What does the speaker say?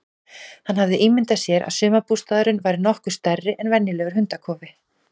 Hann hafði ímyndað sér að sumarbústaðurinn væri nokkuð stærri en venjulegur hundakofi.